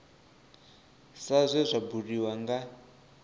sa zwe zwa buliwa nga